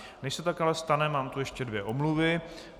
Než se tak ale stane, mám tu ještě dvě omluvy.